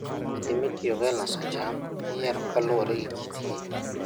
Kodhi mitiyogo e loso cham iyiero kaluwore gi kitgi.